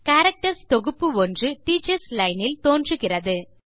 characters தொகுப்பு ஒன்று teachers line இல் தோன்றுகிறது